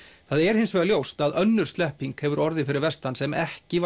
það er hins vegar ljóst að önnur slepping hefur orðið fyrir vestan sem ekki